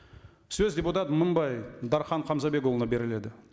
сөз депутат мыңбай дархан хамзабекұлына беріледі